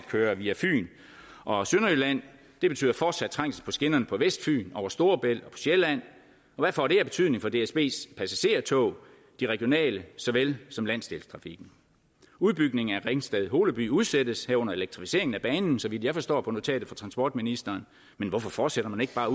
køre via fyn og sønderjylland det betyder fortsat trængsel på skinnerne på vestfyn over storebælt og sjælland hvad får det af betydning for dsbs passagertog de regionale såvel som de landsdækkende udbygningen af ringsted holeby udsættes herunder elektrificeringen af banen så vidt jeg forstår på notatet fra transportministeren men hvorfor fortsætter man ikke bare